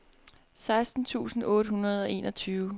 seksten tusind otte hundrede og enogtyve